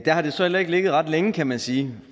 har det så heller ikke ligget ret længe kan man sige